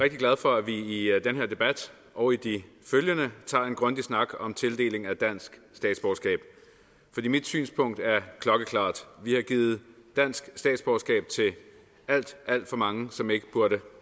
rigtig glad for at vi i den her debat og i de følgende tager en grundig snak om tildeling af dansk statsborgerskab mit synspunkt er klokkeklart vi har givet dansk statsborgerskab til alt alt for mange som ikke burde